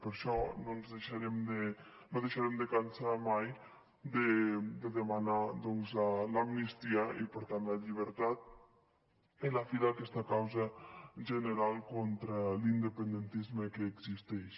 per això no ens cansarem mai de demanar doncs l’amnistia i per tant la llibertat i la fi d’aquesta causa general contra l’independentisme que existeix